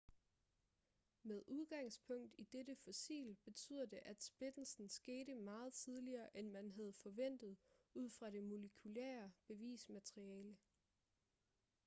med udgangspunkt i dette fossil betyder det at splittelsen skete meget tidligere end man havde forventet ud fra det molekylære bevismateriale